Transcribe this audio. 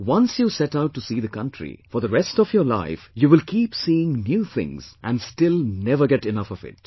Once you set out to see the country, for the rest of your life you will keep seeing new things and still never get enough of it